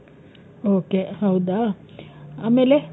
okay. ಹೌದ ?ಆಮೇಲೆ?